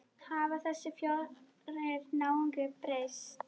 Hafa þessir fjórir náungar breyst?